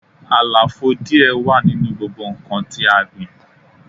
Àlàfo díẹ̀ wà nínú gbogbo nnkan tí a gbìn